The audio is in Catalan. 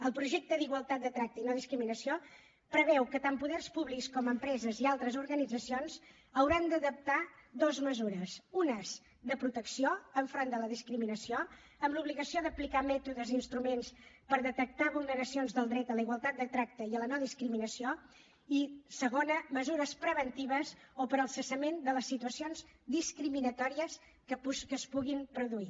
el projecte d’igualtat de tracte i no discriminació preveu que tant poders públics com empreses i altres organitzacions hauran d’adaptar dues mesures unes de protecció davant de la discriminació amb l’obligació d’aplicar mètodes i instruments per detectar vulneracions del dret a la igualtat de tracte i a la no discriminació i segona mesures preventives o per al cessament de les situacions discriminatòries que es puguin produir